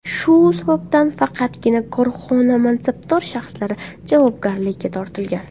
Shu sababdan faqatgina korxona mansabdor shaxslari javobgarlikka tortilgan.